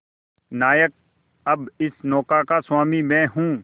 नायक अब इस नौका का स्वामी मैं हूं